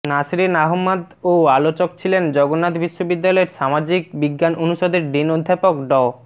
নাসরীন আহমাদ ও আলোচক ছিলেন জগন্নাথ বিশ্ববিদ্যালয়ের সামাজিক বিজ্ঞান অনুষদের ডিন অধ্যাপক ড